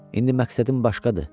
İndi məqsədim başqadır.